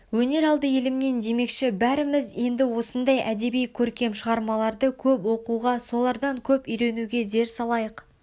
өнер алды елімнен демекші бәріміз енді осындай әдеби көркем шығармаларды көп оқуға солардан көп үйренуге зер салайық